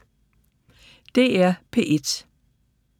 DR P1